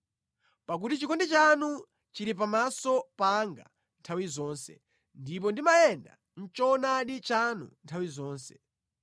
pakuti chikondi chanu chili pamaso panga nthawi zonse, ndipo ndimayenda mʼchoonadi chanu nthawi zonse.